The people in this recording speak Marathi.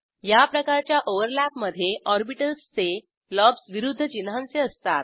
याप्रकारच्या ओव्हरलॅपमधे ऑर्बिटल्स चे लोब्ज विरूध्द चिन्हांचे असतात